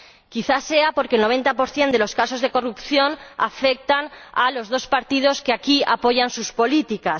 Quizá sea porque el noventa por ciento de los casos de corrupción afecta a los dos partidos que aquí apoyan sus políticas.